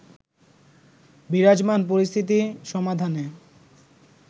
বিরাজমান পরিস্থিতির সমাধানে